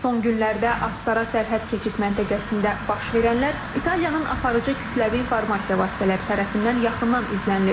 Son günlərdə Astara sərhəd keçid məntəqəsində baş verənlər İtaliyanın aparıcı kütləvi informasiya vasitələri tərəfindən yaxından izlənilir.